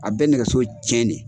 A bɛ nɛgɛso tiiɲɛn de